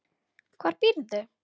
Hvar býrðu?